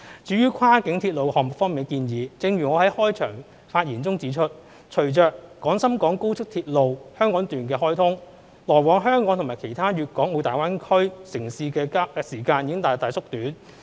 至於跨境鐵路項目方面的建議，正如我在開場發言中指出，隨着廣深港高速鐵路香港段開通，來往香港與其他粵港澳大灣區城市的時間已大大縮短。